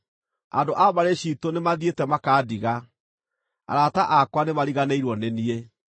Andũ a mbarĩ ciitũ nĩmathiĩte makandiga; arata akwa nĩmariganĩirwo nĩ niĩ.